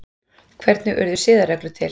Hvernig urðu siðareglur til?